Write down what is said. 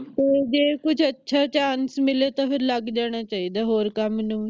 ਜੇ ਕੁਝ ਅੱਛਾ chance ਮਿਲੇ ਤਾ ਫਿਰ ਲੱਗ ਜਾਣਾ ਚਾਹੀਦਾ ਹੋਰ ਕੰਮ ਨੂੰ